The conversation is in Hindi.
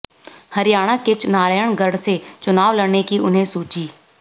हरियाणा के नारायणगढ़ से चुनाव लड़ने की उन्हें सूझी